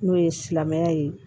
N'o ye silamɛya ye